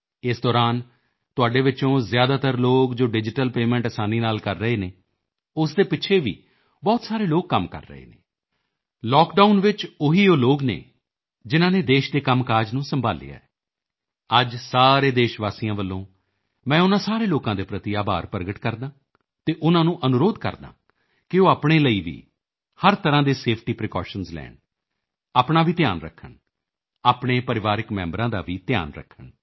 ਇਸ ਦੌਰਾਨ ਤੁਹਾਡੇ ਵਿੱਚੋਂ ਜ਼ਿਆਦਾਤਰ ਲੋਕ ਜੋ ਡਿਜੀਟਲ ਪੇਮੈਂਟ ਅਸਾਨੀ ਨਾਲ ਕਰ ਰਹੇ ਹਨ ਉਸ ਦੇ ਪਿੱਛੇ ਵੀ ਬਹੁਤ ਸਾਰੇ ਲੋਕ ਕੰਮ ਕਰ ਰਹੇ ਹਨ ਲਾਕਡਾਊਨ ਉਹੀ ਉਹ ਲੋਕ ਹਨ ਜਿਨ੍ਹਾਂ ਨੇ ਦੇਸ਼ ਦੇ ਕੰਮਕਾਜ ਨੂੰ ਸੰਭਾਲਿਆ ਹੋਇਆ ਹੈ ਅੱਜ ਸਾਰੇ ਦੇਸ਼ਵਾਸੀਆਂ ਵੱਲੋਂ ਮੈਂ ਉਨ੍ਹਾਂ ਸਾਰੇ ਲੋਕਾਂ ਦੇ ਪ੍ਰਤੀ ਆਭਾਰ ਪ੍ਰਗਟ ਕਰਦਾ ਹਾਂ ਅਤੇ ਉਨ੍ਹਾਂ ਨੂੰ ਅਨੁਰੋਧ ਕਰਦਾ ਹਾਂ ਕਿ ਉਹ ਆਪਣੇ ਲਈ ਵੀ ਹਰ ਤਰ੍ਹਾਂ ਦੇ ਸੇਫਟੀ ਪ੍ਰੀਕੌਸ਼ਨਜ਼ ਲੈਣ ਆਪਣਾ ਵੀ ਧਿਆਨ ਰੱਖਣ ਆਪਣੇ ਪਰਿਵਾਰਕ ਮੈਂਬਰਾਂ ਦਾ ਵੀ ਧਿਆਨ ਰੱਖਣ